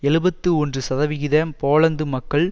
எழுபத்து ஒன்று சதவிகித போலந்து மக்கள்